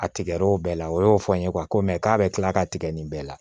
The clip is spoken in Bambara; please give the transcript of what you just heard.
A tigɛr'o bɛɛ la o y'o fɔ n ye ko mɛ k'a bɛ kila ka tigɛ nin bɛɛ la